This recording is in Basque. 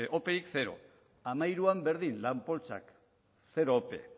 operik zero bi mila hamairuan berdin lan poltsak zero ope